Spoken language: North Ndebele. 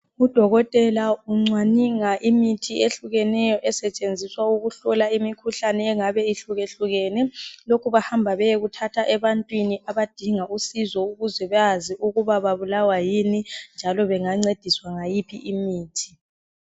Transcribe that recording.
Udokotela uncwaninga imithi ehlukeneyo esetshenziswa ukuhlola imikhuhlane engabe ihlukehlukene, lokhu bahamba bayekuthatha ebantwini abadinga usizo ukuze Bazi ukuthi babulawa yini, njalo bengancediswa ngayiphi imithi.